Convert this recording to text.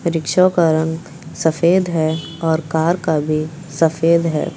Rickshaw का रंग सफेद है और कार का भी सफेद है।